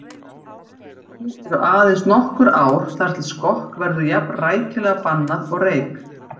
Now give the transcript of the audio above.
Nú eru aðeins nokkur ár þar til skokk verður jafn rækilega bannað og reyk